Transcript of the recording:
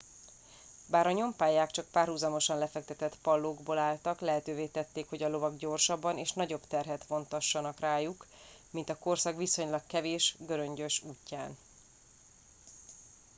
bár a nyompályák csak párhuzamosan lefektetett pallókból álltak lehetővé tették hogy a lovak gyorsabban és nagyobb terhet vontassanak rajtuk mint a korszak viszonylag kevés göröngyös útján